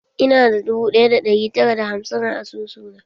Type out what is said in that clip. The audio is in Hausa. Ina da dubu ɗaya da ɗari tara da hamsin a asusuna.